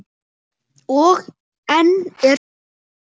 Og enn er spurt.